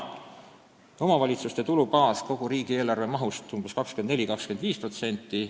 Omavalitsuste eelarvete maht kogu riigieelarve mahust on meil 24–25%.